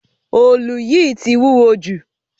Òòlù yìí tì wúwọ́ jù.